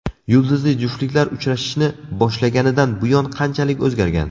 Yulduzli juftliklar uchrashishni boshlaganidan buyon qanchalik o‘zgargan?